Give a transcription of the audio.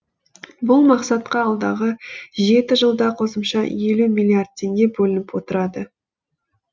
бұл мақсатқа алдағы жеті жылда қосымша елу миллиард теңге бөлініп отырады